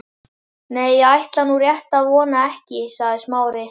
Nei, ég ætla nú rétt að vona ekki sagði Smári.